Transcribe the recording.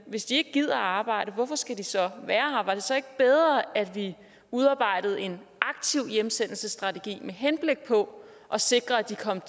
hvis de ikke gider arbejde hvorfor skal de så være her var det så ikke bedre at vi udarbejdede en aktiv hjemsendelsesstrategi med henblik på at sikre at de kom